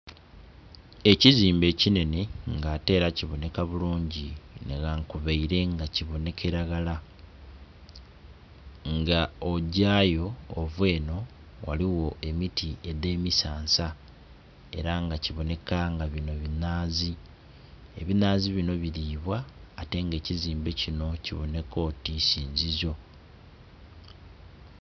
Ekizimbe ekinhenhe nga ate era kibonheka bulungi nhi ghankubele nga kibonhekela ghala nga ogyayo ova enho ghaligho emiti edhe misansa era nga kibonheka nga binho binhazi. Ebinhazi binho bilibwa ate nga ekizimbe kinho kibonheka oti isinzizo.